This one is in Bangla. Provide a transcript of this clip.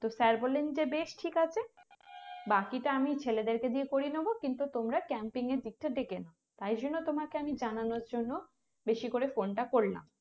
তো Sir বললেন যে বেশ ঠিক আছে বাকিটা আমি ছেলেদেরকে দিয়ে করিয়ে নেবো কিন্তু তোমরা Camping এর দিকটা দেখে নাও তাই জন্য তোমাকে আমি জানানোর জন্য বেশি করে আমি phone টা করলাম